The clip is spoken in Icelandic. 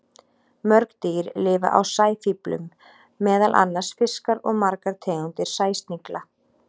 Mörg dýr lifa á sæfíflum, meðal annars fiskar og margar tegundir sæsnigla.